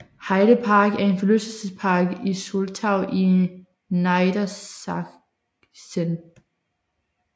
Heide Park er en forlystelsespark i Soltau i Niedersachsen